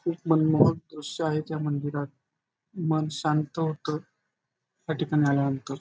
एक मनमोहक दृश्य आहे त्या मंदिरात मन शांत होत या ठिकाणी आल्यानंतर.